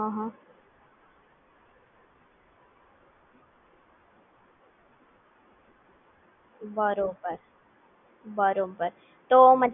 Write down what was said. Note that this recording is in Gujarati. બરાબર એટલે Compulsory નથી કે તમારે કોઈ આ બેંકમાં Particular account હોવું જોઈએ?